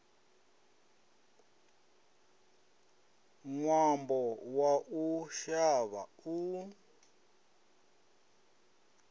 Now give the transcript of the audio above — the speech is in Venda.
ṅwambo wa u shavha u